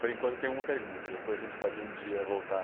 Por enquanto eu tenho uma pergunta, depois a gente pode um dia voltar.